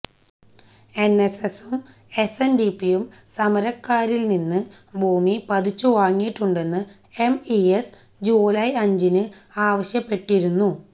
എന്എസ്എസും എസ്എന്ഡിപിയും സര്ക്കാറില് നിന്ന് ഭൂമി പതിച്ചു വാങ്ങിയിട്ടുണ്ടെന്ന് എംഇഎസ് ജൂലായ് അഞ്ചിന് ആവശ്യപ്പെട്ടിരുന്നു